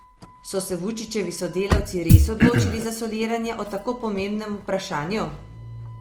So se Vučićevi sodelavci res odločili za soliranje o tako pomembnem vprašanju?